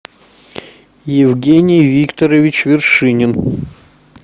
евгений викторович вершинин